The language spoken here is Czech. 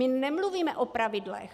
My nemluvíme o pravidlech.